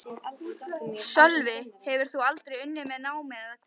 Sölvi: Hefur þú aldrei unnið með námi eða hvað?